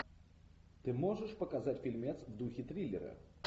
ты можешь показать фильмец в духе триллера